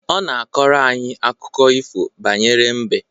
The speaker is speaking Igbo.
Ọ na akọrọ anyị akụkọ ifo banyere mbe